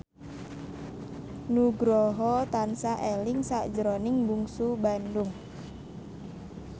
Nugroho tansah eling sakjroning Bungsu Bandung